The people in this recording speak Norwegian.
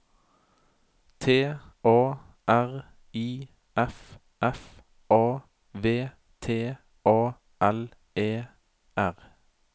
T A R I F F A V T A L E R